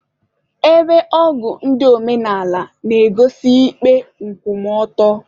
Ebe ogu ndị omenala na-egosi ikpe nkwụmọtọ.